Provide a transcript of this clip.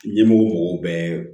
Ɲɛmɔgɔ mɔgɔw bɛ